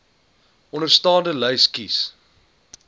onderstaande lys kies